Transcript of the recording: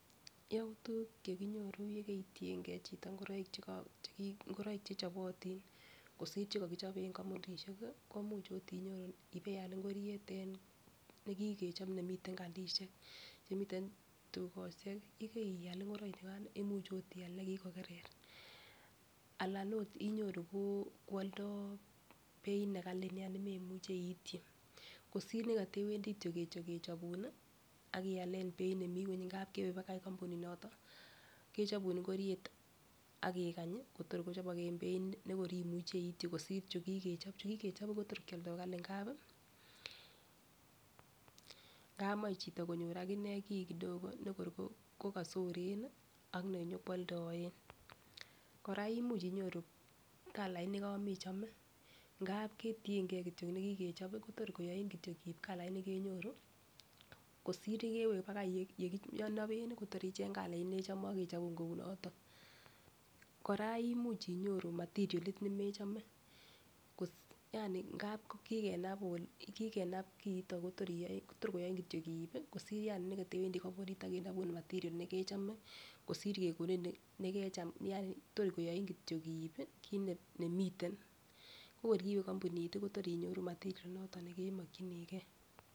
Youtuk chekinyoru yekoitiyengee chito ingoroik cheki ingoroik chechobotin kosir chekokichobe en kompunishek komuch ot inyoru ibeal ingoriet en nekikechob nemiten kandiishek chemiten tukoshek kii yekeial ingoroik chukan imuch ot ial negikokerer anan ot inyoru ko oldo beit nekali nia nememuchi iityi kosir nekotewendii kityok kechobun nii ak ialen beit nemii ngweny ngap kewe akoi kompunit noton kechobun ingoriet ak ikany Kotor kochobok en beit nekor imuchii ityi kosir chukikechob, chukikechob Kotor kwoldo Kali ngapi ngap moi chito konyor akinee kii kidogo nekor ko kosoren Nii ak nenyokwoldoen. Koraa imuch iyoru kalait nekomechome ngap ketiyengee kityok nekikechobi Kotor koyoni kityok ib kaliet nekenyoru kosir nekewe akoi olekinoben nii Kotor icheng kalait nechome akechobun kou noton. Koraa imuch inyoru matirielit nemechome kot yani ngap kikenabun kikenab kiton Kotor iyoe tor koyoin kityok iib kosir yani nekotewendii kompunit age ak kenobun material nekechome kosir kekonin nekecham yani tor koyoin iibin kit nemiten, ko kor kiwe kompunit tii Kotor inyoru material inoton nekemokinii gee.